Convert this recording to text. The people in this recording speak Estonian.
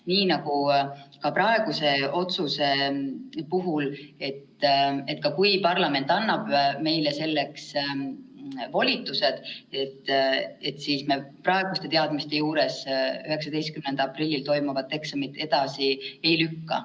Nii nagu ka praeguse otsuse puhul, et kui parlament ka annab meile selleks volitused, siis me praeguste teadmiste juures 19. aprillil toimuvat eksamit edasi ei lükka.